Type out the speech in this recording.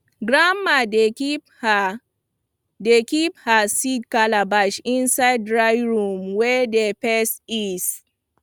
grandma dey keep her dey keep her seed calabash inside dry room wey dey face east